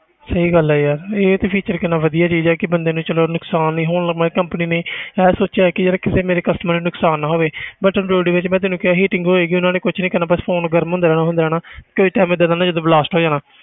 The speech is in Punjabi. ਸਹੀ ਗੱਲ ਹੈ ਯਾਰ ਇਹ ਤੇ feature ਕਿੰਨਾ ਵਧੀਆ ਚੀਜ਼ ਹੈ ਕਿ ਬੰਦੇ ਨੂੰ ਚਲੋ ਨੁਕਸਾਨ ਨੀ ਹੋਣ ਮਤਲਬ company ਨੇ ਇਹ ਸੋਚਿਆ ਕਿ ਯਾਰ ਕਿਸੇ ਮੇਰੇ customer ਨੂੰ ਨੁਕਸਾਨ ਨਾ ਹੋਵੇ ਬਸ android ਵਿੱਚ ਮੈਂ ਤੈਨੂੰ ਕਿਹਾ ਸੀ heating ਹੋਏਗੀ ਉਹਨਾਂ ਨੇ ਕੁਛ ਨੀ ਕਰਨਾ ਬਸ phone ਗਰਮ ਹੁੰਦਾ ਰਹਿਣਾ ਹੁੰਦਾ ਰਹਿਣਾ ਕੋਈ time ਏਦਾਂ ਦਾ ਜਦੋਂ blast ਹੋ ਜਾਣਾ